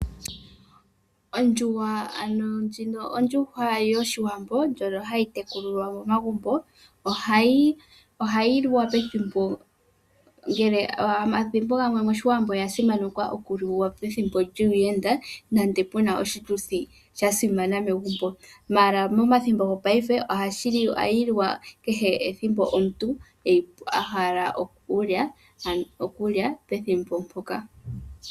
Ondjuhwa yoshiwambo ndjono hayi tekulilwa momagumbo, oya simanekwa okuliwa pethimbo pu na aayenda nenge pu na oshituthi shasimana. Ashike methimbo lyongashingeyi ohayi liwa ethimbo ndoka omuntu a hala oku yi lya.